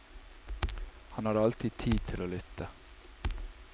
Han hadde alltid tid til å lytte.